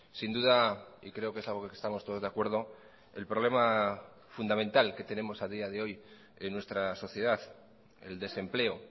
sin duda y creo que es algo que estamos todos de acuerdo el problema fundamental que tenemos a día de hoy en nuestra sociedad el desempleo